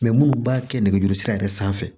munnu b'a kɛ nɛgɛjuru sira yɛrɛ sanfɛ